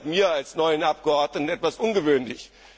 sein! Das erscheint mir als neuem Abgeordneten etwas ungewöhnlich.